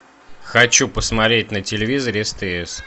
хочу посмотреть на телевизоре стс